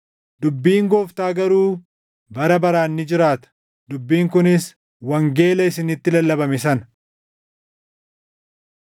dubbiin Gooftaa garuu bara baraan ni jiraata.” + 1:25 \+xt Isa 40:6‑8\+xt* Dubbiin kunis wangeela isinitti lallabame sana.